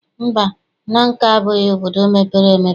Mba, Nanka abụghị obodo mepere emepe.